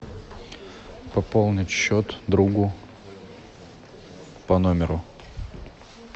пополнить счет другу по номеру